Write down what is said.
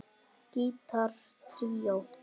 Gítar tríó